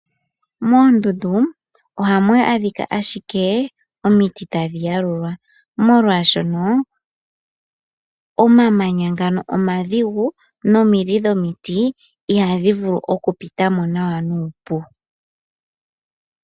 Moondundu oha mu adhika adhike omiti tadhi yalulwa molwashoka omamanya ngano omadhigu nomidhi dhomiti iha dhi vulu okupitamo nawa nuupu.